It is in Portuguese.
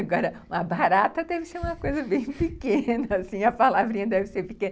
Agora, uma barata deve ser uma coisa bem pequena, assim, a palavrinha deve ser pequena.